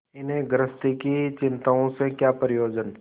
इन्हें गृहस्थी की चिंताओं से क्या प्रयोजन